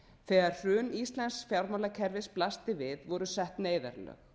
þegar hrun íslensk fjármálakerfis blasti við voru sett neyðarlög